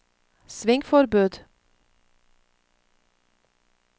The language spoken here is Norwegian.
svingforbud